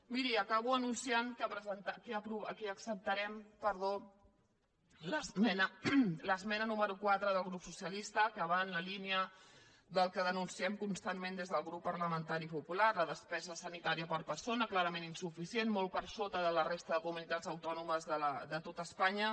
miri acabo anunciant que acceptarem l’esmena número quatre del grup socialista que va en la línia del que denunciem constantment des del grup parlamentari popular la despesa sanitària per persona clarament insuficient molt per sota de la resta de comunitats autònomes de tot espanya